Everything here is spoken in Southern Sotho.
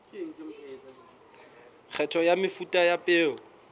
kgetho ya mefuta ya peo